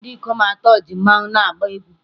Ndị ikom atọ ji mmanwu na-agba egwú